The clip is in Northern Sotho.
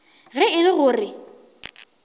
ge e le go re